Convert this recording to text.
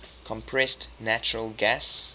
compressed natural gas